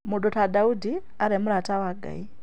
Mũndũ ta Daudi arĩ mũrata wa Ngai